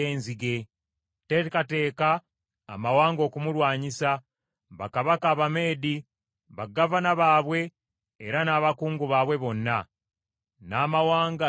Teekateeka amawanga okumulwanyisa; bakabaka Abameedi, bagavana baabwe era n’abakungu baabwe bonna, n’amawanga ge bafuga.